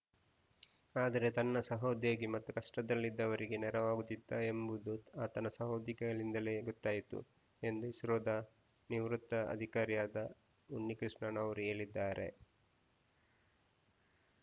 ಆದರೆ ತನ್ನ ಸಹೋದ್ಯೋಗಿ ಮತ್ತು ಕಷ್ಟದಲ್ಲಿದ್ದವರಿಗೆ ನೆರವಾಗುತ್ತಿದ್ದ ಎಂಬುದು ಆತನ ಸಹೋದ್ಯೋಗಿಗಳಿಂದಲೇ ಗೊತ್ತಾಯಿತು ಎಂದು ಇಸ್ರೋದ ನಿವೃತ್ತ ಅಧಿಕಾರಿಯಾದ ಉನ್ನಿಕೃಷ್ಣನ್‌ ಅವರು ಹೇಳಿದ್ದಾರೆ